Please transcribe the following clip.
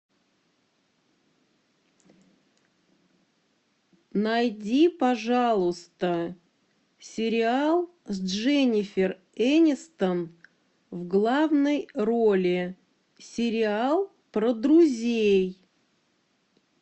найди пожалуйста сериал с дженнифер энистон в главной роли сериал про друзей